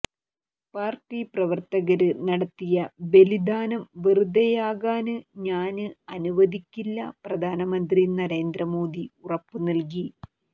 party പ്രവര്ത്തകര് നടത്തിയ ബലിധാനം വെറുതെയാകാന് ഞാന് അനുവദിക്കില്ല പ്രധാനമന്ത്രി നരേന്ദ്ര മോദി ഉറപ്പു നല്കി